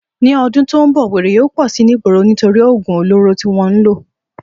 Ní o̩dún tó n bò̩, wèrè yóò pò̩ si nígboro nítorí ògùn olóró tí wó̩n ń lò